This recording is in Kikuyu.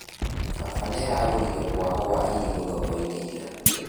Baba nĩaragũrire mwahũ wa irigũ thoko-inĩ ira